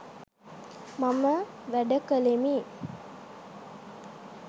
මම වැඩ කළෙමි